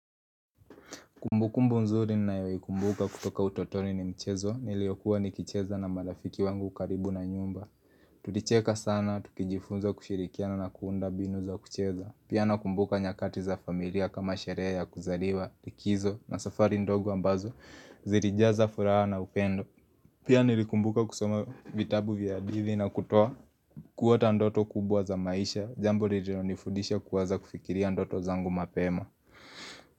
Kumbu kumbu mzuri nayoikumbuka kutoka utotoni ni mchezo niliyokuwa nikicheza na marafiki wangu karibu na nyumba Tulicheka sana, tukijifunza kushirikiana na kuunda mbinu za kucheza. Pia nakumbuka nyakati za familia kama sherehe ya kuzaliwa, likizo na safari ndogo ambazo, zilijaza furaha na upendo Pia nilikumbuka kusoma vitabu vya hadithi na kutoa kuota ndoto kubwa za maisha, jambo nililonifudisha kuwaza kufikiria ndoto zangu mapema.